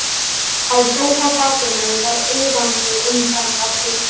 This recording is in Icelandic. Á sófabakinu var iðandi umferð af lús.